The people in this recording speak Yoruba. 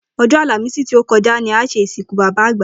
O̩jó̩ Àlàmísì tí ó ko̩ja ni a s̩e ìsìnkú bàbá àgbà